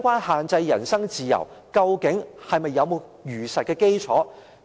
限制人身自由，究竟有否事實基礎？